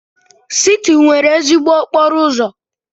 Siti nwere ezigbo okporo ụzọ.